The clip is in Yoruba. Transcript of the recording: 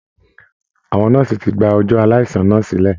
Àwọn nọ́ọ̀si ti gba ọjọ aaláìsàn náà sílẹ̀